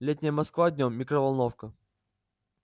летняя москва днём микроволновка